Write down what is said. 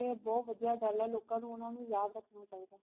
ਇਹ ਬਹੁਤ ਵਧੀਆ ਗੱਲ ਏ ਲੋਕਾਂ ਨੂੰ ਓਹਨਾ ਨੂੰ ਯਾਦ ਰੱਖਣਾ ਚਾਹੀਦਾ